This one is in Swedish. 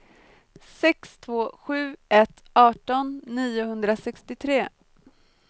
sex två sju ett arton niohundrasextiotre